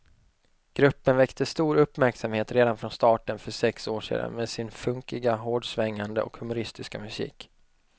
Gruppen väckte stor uppmärksamhet redan från starten för sex år sedan med sin funkiga, hårdsvängande och humoristiska musik.